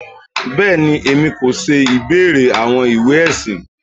Bẹẹni, Èmi kò ṣe ìbéèrè àwọn ìwé ẹsìn.